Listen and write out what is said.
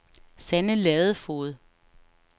Sanne Ladefoged